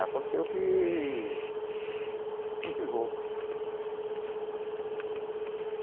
Aconteceu que... eu não tive roupa.